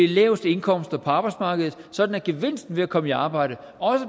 laveste indkomster på arbejdsmarkedet sådan at gevinsten ved at komme i arbejde